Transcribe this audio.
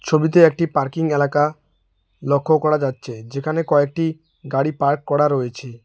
ছবিতে একটি পার্কিং এলাকা লক্ষ করা যাচ্ছে যেখানে কয়েকটি গাড়ি পার্ক করা রয়েছে।